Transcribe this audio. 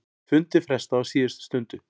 Fundi frestað á síðustu stundu